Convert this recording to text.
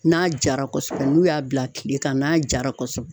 N'a jara kɔsɔbɛ n'u y'a bila kile kan n'a jara kɔsɔbɛ.